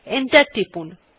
enter টিপুন